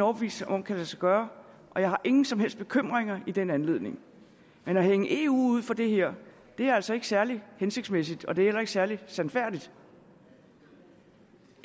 overbevist om kan lade sig gøre og jeg har ingen som helst bekymringer i den anledning men at hænge eu ud for det her er altså ikke særlig hensigtsmæssigt og det er heller ikke særlig sandfærdigt